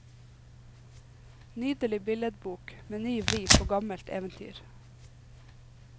Nydelig billedbok med ny vri på gammelt eventyr.